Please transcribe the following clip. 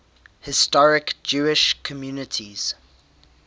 historic jewish communities